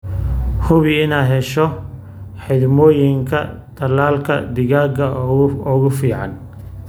Hubi inaad hesho xidhmooyinka tallaalka digaaga ee ugu fiican.